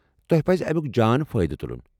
تۄہہ پزِ امیُک جان فٲیدٕ تُلُن۔